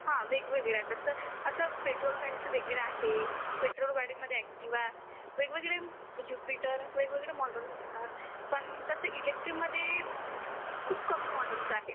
हा हा वेगळ्या वेगळ्या कसं पेट्रोल गाडीचं वेगळं आहे, पेट्रोल गाडीमध्ये एक्टिवा वेगळे वेगळे जुपिटर वेगळे वेगळे मोडेल असतात पण कसं इलेक्ट्रिक मध्ये खूप कमी मॉडेल्स आहेत